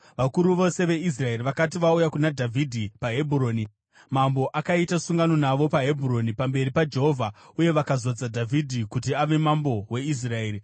Vakuru vose veIsraeri vakati vauya kuna Dhavhidhi paHebhuroni, mambo akaita sungano navo paHebhuroni pamberi paJehovha, uye vakazodza Dhavhidhi kuti ave mambo weIsraeri.